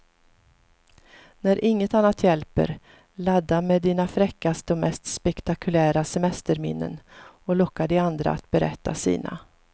När inget annat hjälper, ladda med dina fräckaste och mest spektakulära semesterminnen och locka de andra att berätta sina.